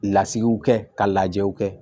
Lasigiw kɛ ka lajɛ u kɛ